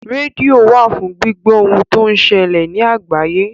Rédíò wà fún gbíbọ́ ohun tó ń ṣẹlè ní àgbáyé.